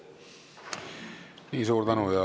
Nii, suur tänu!